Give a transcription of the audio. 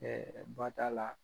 Ɛɛ ba t'a la